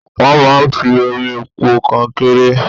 Wọ́n máa ń fi omi po kọnkéré.